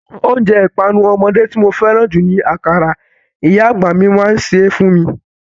Oúnjẹ ìpanu ọmọdé tí mo fẹ́ràn jù ni akara, ìyá àgbà mi máa ń ṣe é fún mi.